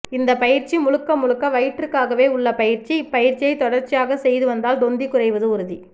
இந்த பயிற்சி முழுக்க முழுக்க வயிற்றுக்காகவே உள்ள பயிற்சி இப்பயிற்சியை தொடர்ச்சியாக செய்து வந்தால் தொந்தி குறைவது உறுதி